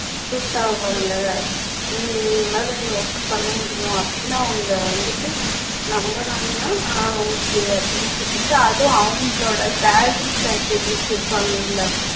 suit ஆவாங்க உம் இவங்களால இந்த work அ பண்ண முடியும் அப்ப்டின்னு அவங்க வந்துட்டு நம்புனாங்கன்னா ஆஹ் okay அப்படின்னு சொல்லிட்டு அதுவும் அவங்களோட salary package வச்சுருப்பாங்கல்ல